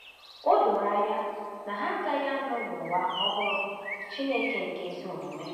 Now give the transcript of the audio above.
O doro anya na ha agaghị anọ n’ụwa ọhụrụ Chineke nke ezi omume.